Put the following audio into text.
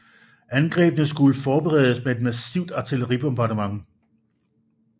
Angrebene skulle forberedes med et massivt artilleribombardement